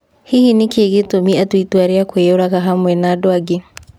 Hihi nĩkĩĩ gĩtũmi atue itua rĩa kũĩyuraga hamwe na andũ angĩ ?